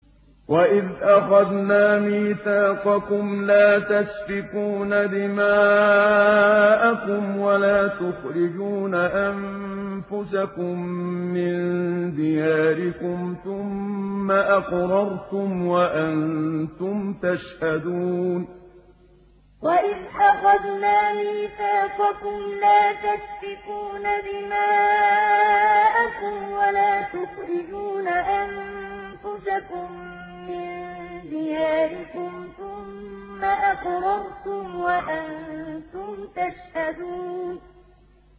وَإِذْ أَخَذْنَا مِيثَاقَكُمْ لَا تَسْفِكُونَ دِمَاءَكُمْ وَلَا تُخْرِجُونَ أَنفُسَكُم مِّن دِيَارِكُمْ ثُمَّ أَقْرَرْتُمْ وَأَنتُمْ تَشْهَدُونَ وَإِذْ أَخَذْنَا مِيثَاقَكُمْ لَا تَسْفِكُونَ دِمَاءَكُمْ وَلَا تُخْرِجُونَ أَنفُسَكُم مِّن دِيَارِكُمْ ثُمَّ أَقْرَرْتُمْ وَأَنتُمْ تَشْهَدُونَ